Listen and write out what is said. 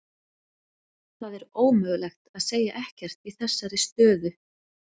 Það er ómögulegt að segja ekkert í þessari stöðu.